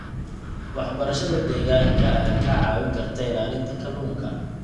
Waxbarashada deegaanka ayaa kaa caawin karta ilaalinta kalluunka.